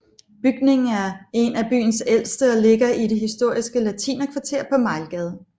Bygningen er en af byens ældste og ligger i det historiske latinerkvarter på Mejlgade